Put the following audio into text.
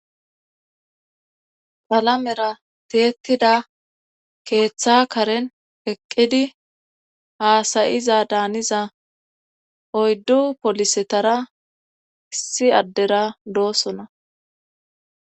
Palamera tiyetida keeththa karen eqqidi haasayiza daaniza oyddu polisetara issi addera doosona